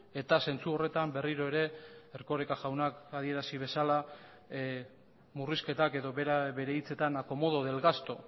eta zentzu horretan berriro ere erkoreka jaunak adierazi bezala murrizketak edo bere hitzetan acomodo del gasto